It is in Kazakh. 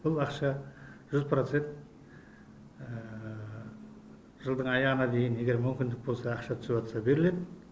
бұл ақша жүз процент жылдың аяғына дейін егер мүмкіндік болса ақша түсіп жатса беріледі